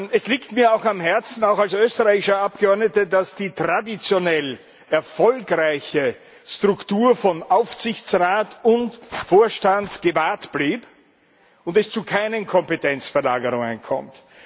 Es liegt mir auch am Herzen auch als österreichischer Abgeordneter dass die traditionell erfolgreiche Struktur von Aufsichtsrat und Vorstand gewahrt blieb und es zu keinen Kompetenzverlagerungen kommt.